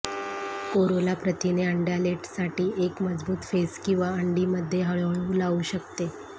Corolla प्रथिने अंड्यालेटसाठी एक मजबूत फेस किंवा अंडी मध्ये हळू हळू लावू शकते